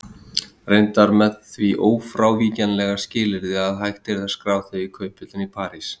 Reyndar með því ófrávíkjanlega skilyrði að hægt yrði að skrá þau í kauphöllinni í París.